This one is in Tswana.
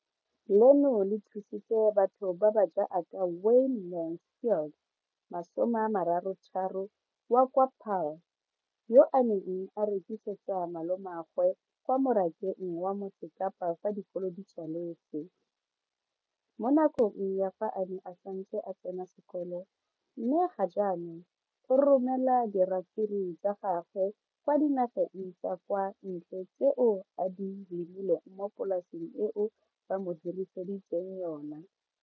leno le thusitse batho ba ba jaaka Wayne Mansfield 33 wa kwa Paarl, yo a neng a rekisetsa malomagwe kwa Marakeng wa Motsekapa fa dikolo di tswaletse, mo nakong ya fa a ne a santse a tsena sekolo, mme ga jaanong o romela diratsuru tsa gagwe kwa dinageng tsa kwa ntle tseo a di lemileng mo polaseng eo ba mo hiriseditseng yona.